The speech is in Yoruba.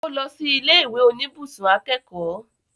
Ó lọ sí ilé ìwé oníbùsùn akẹ́kọ̀ọ́